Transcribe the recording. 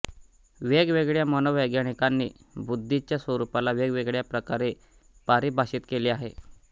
वेगवेगळ्या मनोवैज्ञानिकानी बुद्धि च्या स्वरूपाला वेगवेगळ्या प्रकारे पारिभाषित केले आहे